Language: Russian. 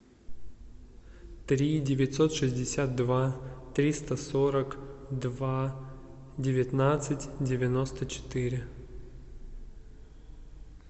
три девятьсот шестьдесят два триста сорок два девятнадцать девяносто четыре